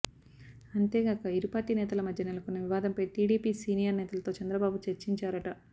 అంతేగాక ఇరుపార్టీ నేతల మధ్య నెలకొన్న వివాదంపై టీడీపీ సీనియర్ నేతలతో చంద్రబాబు చర్చించారట